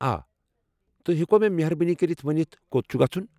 آ، توہہِ ہیكوا مے٘ مہربٲنی كرِتھ ونِتھ کوٚت چھُ گژھُن؟